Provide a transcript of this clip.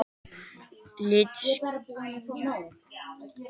Litskrúðið er þá yfirleitt til þess að ganga í augun á hinu kyninu.